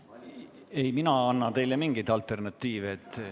Ei, mina ei anna teile mingeid alternatiive.